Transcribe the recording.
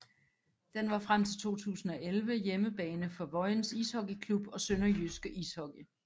Den var frem til 2011 hjemmebane for Vojens Ishockey Klub og SønderjyskE Ishockey